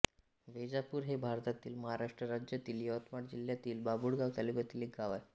वैजापूर हे भारतातील महाराष्ट्र राज्यातील यवतमाळ जिल्ह्यातील बाभुळगाव तालुक्यातील एक गाव आहे